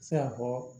Se ka fɔ